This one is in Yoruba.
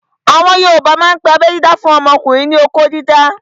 Àwọn yoòbá máa n pe abẹ́ dídá fún ọmọkùnrin ní "okó dídá"